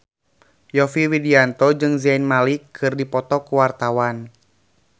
Yovie Widianto jeung Zayn Malik keur dipoto ku wartawan